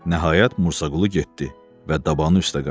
Nəhayət Musaqulu getdi və dabanı üstə qayıtdı.